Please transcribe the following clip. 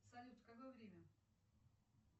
салют какое время